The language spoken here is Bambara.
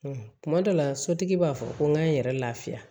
Kuma dɔ la sotigi b'a fɔ ko n ka n yɛrɛ lafiya